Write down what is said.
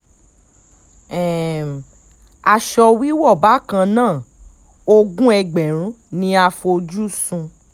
um aṣọ wíwọ́ bákan náà ogún ẹgbẹ̀rún ni a fojú sùn